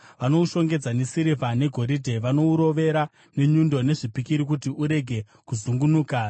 Vanoushongedza nesirivha negoridhe; vanourovera nenyundo nezvipikiri kuti urege kuzungunuka.